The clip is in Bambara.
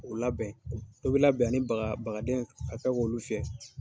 O labɛn, i bi labɛn ni baga, ni bagaden ye, ka kɛ k'olu fiyɛ.